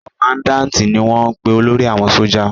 Kọmandáǹti ni wọ́n ń pe olórí àwọn sójà